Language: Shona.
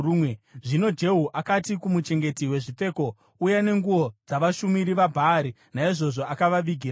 Zvino Jehu akati kumuchengeti wezvipfeko, “Uya nenguo dzavashumiri vaBhaari.” Naizvozvo akavavigira nguo.